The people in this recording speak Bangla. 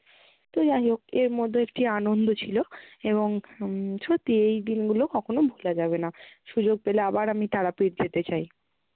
তো যাই হোক এর মধ্যেও একটি আনন্দ ছিলো এবং হম সত্যি এই দিনগুলো কখনও ভোলা যাবে না। সুযোগ পেলে আবার আমি তারাপীঠ যেতে চাই।